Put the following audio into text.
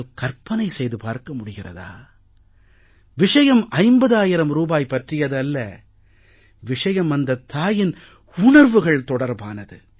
கற்பனை செய்து பார்க்க முடிகிறதா விஷயம் 50000 ரூபாய் பற்றியது அல்ல விஷயம் அந்தத் தாயின் உணர்வுகள் தொடர்பானது